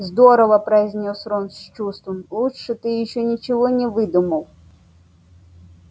здорово произнёс рон с чувством лучше ты ещё ничего не выдумывал